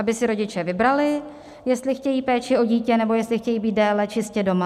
Aby si rodiče vybrali, jestli chtějí péči o dítě, nebo jestli chtějí být déle čistě doma.